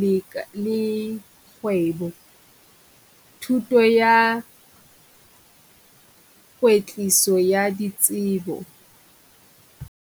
le le kgwebo, thuto ya kwetliso ya ditsebo.